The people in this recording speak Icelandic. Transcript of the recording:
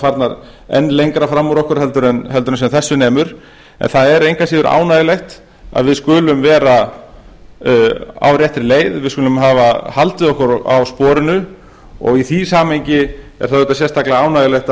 farnar enn lengra fram úr okkur en sem þessu nemur það er engu að síður ánægjulegt að við skulum vera á réttri leið að við skulum hafa haldið okkur á sporinu og í því samhengi er það auðvitað sérstaklega ánægjulegt